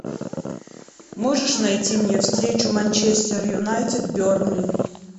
можешь найти мне встречу манчестер юнайтед бернли